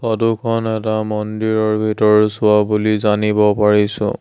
Photo খন এটা মন্দিৰৰ ভিতৰৰচোৱা বুলি জানিব পাৰিছো।